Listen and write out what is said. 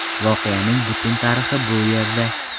Voqeaning butun tarixi bu yerda .